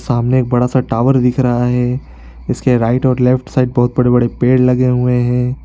सामने एक बड़ा सा टावर दिख रहा है जिसके राइट और लेफ्ट साइड बहुत बड़े -बड़े पेड़ लगे हुए हैं ।